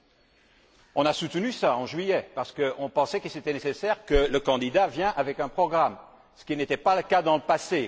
Nous avons soutenu cela en juillet, parce que nous pensions qu'il était nécessaire que le candidat vienne avec un programme, ce qui n'était pas le cas dans le passé.